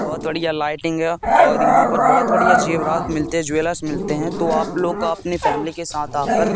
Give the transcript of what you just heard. बहोत बढ़िया लाइटिंग है और यहां पर बहोत बढ़िया जेवरात मिलते ज्वेलर्स मिलते हैं तो आप लोग अपनी फैमिली के साथ आकर--